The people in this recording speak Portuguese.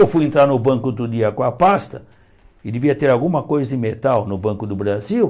Eu fui entrar no banco outro dia com a pasta, e devia ter alguma coisa de metal no Banco do Brasil.